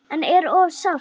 En er of sárt.